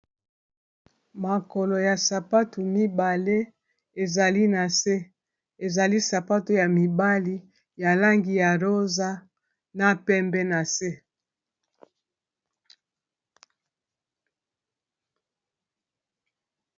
Makolo ya sapato mibale ezali na se ezali sapato ya mibali ya langi ya rosa na pembe na se.